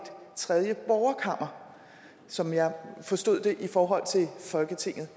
tredje borgerkammer som jeg forstod det i forhold til folketinget